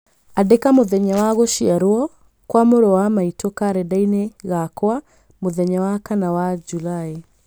Andĩka mũthenya wa gũciarwo kwa mũrũ wa maitũ karenda-inĩ gakwa mũthenya wa kana wa Julaĩ.